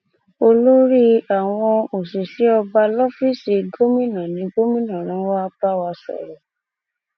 olórí àwọn òṣìṣẹ ọba lọfíìsì gómìnà ní gómìnà rán wàá bá wa sọrọ